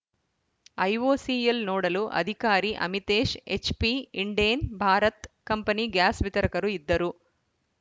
IOCL ನೋಡಲು ಅಧಿಕಾರಿ Amitesh HP Indane Bharat company gas ವಿತರಕರು ಇದ್ದರು